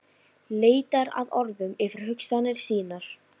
Leitar að orðum yfir hugsanir sínar.